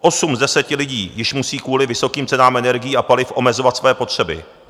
Osm z deseti lidí již musí kvůli vysokým cenám energií a paliv omezovat své potřeby.